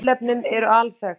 Tilefnin eru alþekkt